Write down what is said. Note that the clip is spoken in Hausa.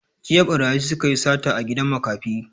Jiya ɓarayi suka yi sata a gidan makafi